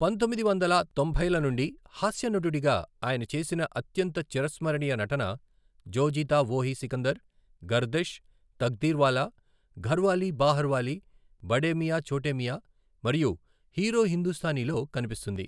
పంతొమ్మిది వందల తొంభైల నుండి హాస్యనటుడిగా ఆయన చేసిన అత్యంత చిరస్మరణీయ నటన, జో జీతా వోహి సికందర్, గర్దిష్, తక్దీర్వాలా, ఘర్వాలీ బాహార్వాలి, బడే మియా చోటే మియా మరియు హీరో హిందుస్తానీలో కనిపిస్తుంది.